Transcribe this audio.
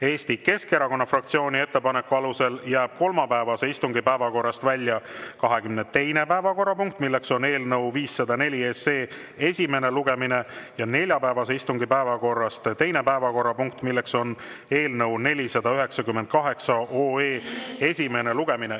Eesti Keskerakonna fraktsiooni ettepaneku alusel jääb kolmapäevase istungi päevakorrast välja 22. päevakorrapunkt, eelnõu 504 esimene lugemine ja neljapäevase istungi päevakorrast teine päevakorrapunkt, eelnõu 498 esimene lugemine.